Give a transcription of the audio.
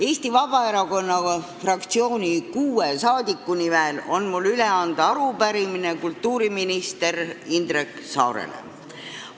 Eesti Vabaerakonna fraktsiooni kuue liikme nimel on mul üle anda arupärimine kultuuriminister Indrek Saarele.